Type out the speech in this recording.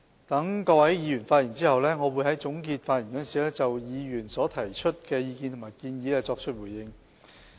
待各位議員發言後，我會在總結發言時就議員提出的意見和建議作出回應。